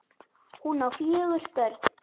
Hún á fjögur börn.